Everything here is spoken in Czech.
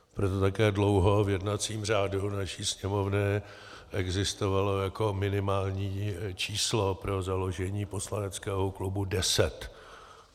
Proto také dlouho v jednacím řádu naší Sněmovny existovalo jako minimální číslo pro založení poslaneckého klubu deset.